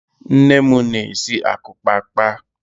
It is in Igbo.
Nne m na-esi akukpaakpa